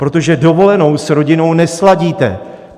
Protože dovolenou s rodinou nesladíte.